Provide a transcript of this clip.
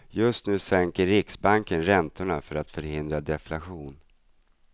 Just nu sänker riksbanken räntorna för att förhindra deflation.